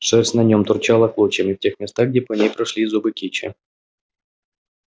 шерсть на нем торчала клочьями в тех местах где по ней прошлись зубы кичи